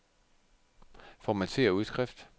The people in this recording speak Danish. Formatér udskrift.